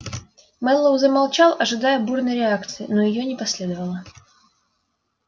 мэллоу замолчал ожидая бурной реакции но её не последовало